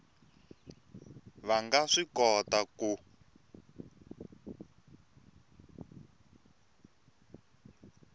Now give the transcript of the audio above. va nga swi kota ku